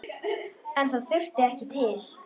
En það þurfti ekki til.